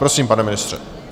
Prosím, pane ministře.